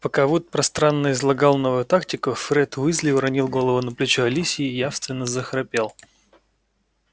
пока вуд пространно излагал новую тактику фред уизли уронил голову на плечо алисии и явственно захрапел